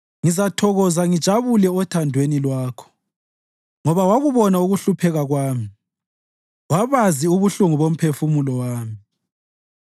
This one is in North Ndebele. Ngizathokoza ngijabule othandweni Lwakho, ngoba wakubona ukuhlupheka kwami wabazi ubuhlungu bomphefumulo wami.